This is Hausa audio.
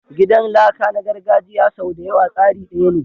Gidan laka na gargajiya sau da yawa tsari daya ne.